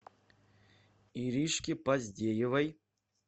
иришке поздеевой